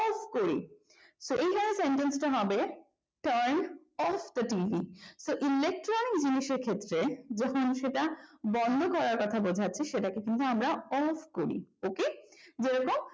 switch off করি তো এখানে sentence টা হবে turn off the tv তো ইলেকট্রনিক জিনিসের ক্ষেত্রে যখন সেটা বন্ধ করার কথা বলা হচ্ছে তখন সেটা off করি ok তো কি বলবো